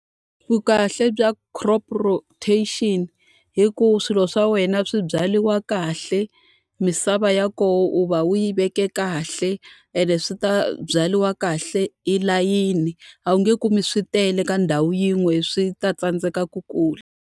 Vukahle bya crop rotation i ku swilo swa wena swi byariwa kahle, misava ya kona u va u yi veke kahle, ene swi ta byariwa kahle hi layini. A wu nge kumi swi tele ka ndhawu yin'we swi ta tsandzeka ku kula.